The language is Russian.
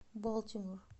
балтимор